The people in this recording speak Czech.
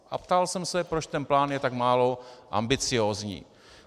A ptal jsem se, proč ten plán je tak málo ambiciózní.